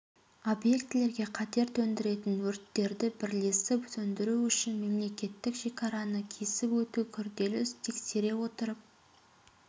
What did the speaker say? объектілерге қатер төндіретін өрттерді бірлесіп сөндіру үшін мемлекеттік шекараны кесіп өту күрделі іс тексере отырып